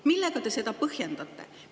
Millega te seda põhjendate?